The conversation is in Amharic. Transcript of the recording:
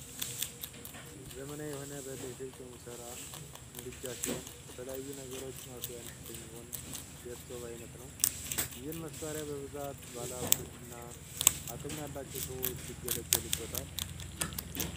ዘመናዊ የሆነ በ ኤሌክትሪክ የሚሠራ የምድጃ ሲሆን ለተለያዩ ነገሮች ማብሰያነት የሚሆን የእስቶብ አይነት ነው። ይህን መሳሪያ በብዛት ባለሀብቶችና አቅም ያላቸው ሰዎች ይገለገሉበታል።